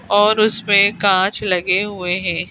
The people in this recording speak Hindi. और उसमें कांच लगे हुए हैं।